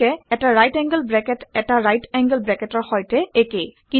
গতিকে এটা right angle bracket ১টা ৰাইট এংগোল ব্ৰেকেটৰ সৈতে একে